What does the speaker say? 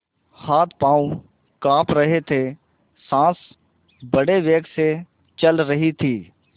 हाथपॉँव कॉँप रहे थे सॉँस बड़े वेग से चल रही थी